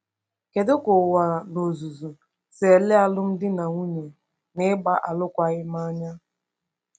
Kedu ka ụwa n’ozuzu si ele alụmdi na nwunye na ịgba alụkwaghịm anya?